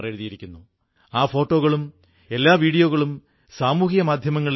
ഭാരതാംബയുടെ ആ വീരൻമാരായ സന്താനങ്ങളെ ആദരിച്ചുകൊണ്ടുകൂടി ഒരു ദീപം തെളിയിക്കേണ്ടതുണ്ട്